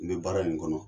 N bɛ baara in kɔnɔ